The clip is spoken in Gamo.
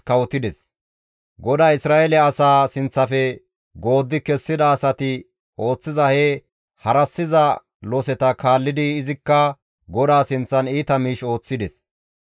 GODAY Isra7eele asaa sinththafe gooddi kessida asati ooththiza he harassiza loseta kaallidi izikka GODAA sinththan iita miish ooththides.